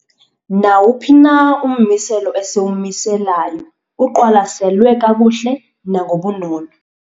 Nawuphi na ummiselo esiwumiselayo uqwalaselwe kakuhle nangobunono.